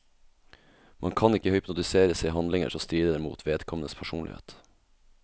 Man kan ikke hypnotiseres til handlinger som strider mot vedkommendes personlighet.